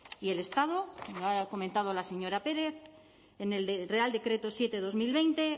y el estado lo ha comentado la señora pérez en el real decreto siete barra dos mil veinte